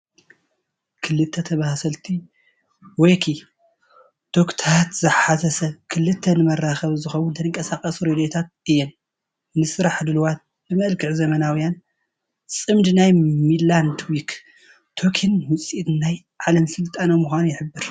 ክልተ ተመሳሰልቲ ዎኪ-ቶኪታት ዝሓዘ ስብስብ፣ ክልተ ንመራኸቢ ዝኸውን ተንቀሳቐስቲ ሬድዮታት እየን፡ ንስራሕ ድሉዋት፡ ብመልክዕ ዘመናውያን። ጽምዲ ናይ ሚድላንድ ዎኪ-ቶኪንን ውዕኢት ናይ ዓለም ስልጣነ ምዃኑ ይሕብር።